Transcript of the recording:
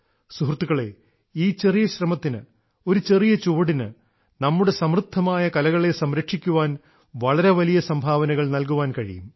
സുഹൃത്തുക്കളേ ഈ ചെറിയ ശ്രമത്തിന് ഒരു ചെറിയ ചുവടിന് നമ്മുടെ സമൃദ്ധമായ കലകളെ സംരക്ഷിക്കാൻ വളരെ വലിയ സംഭാവനകൾ നല്കാൻ കഴിയും